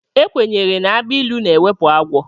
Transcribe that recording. Ekwenyere na agbilu na-ewepụ agwọ.